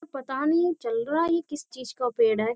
पता नहीं चल रहा है ये किस चीज का पेड़ है --